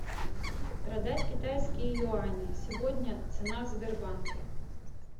продать китайские юани сегодня цена в сбербанке